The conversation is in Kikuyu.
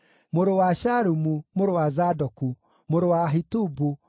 mũrũ wa Shalumu, mũrũ wa Zadoku, mũrũ wa Ahitubu,